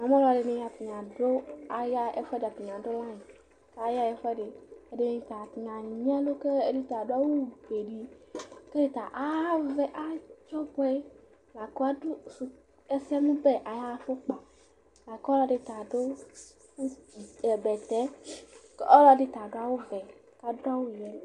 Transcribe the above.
Namu alu ɛdɩnɩ, atani adu layinɩ, kʋ ayaɣa ɛfʋɛdɩ Ɛdɩnɩ anyi ɛlʋ, kʋ ɛdɩ ta adu awufue di, kʋ ɛdɩ ta avɛ, laku adu ɛsɛmʋbɛ ayʋ afukpa Ɔlɔdɩ ta adu bɛtɛ, kʋ ɔlɔdɩ ta adu awuvɛ